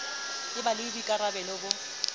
e ba le boikarabalo bo